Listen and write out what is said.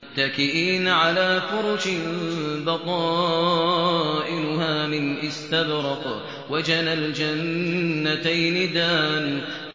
مُتَّكِئِينَ عَلَىٰ فُرُشٍ بَطَائِنُهَا مِنْ إِسْتَبْرَقٍ ۚ وَجَنَى الْجَنَّتَيْنِ دَانٍ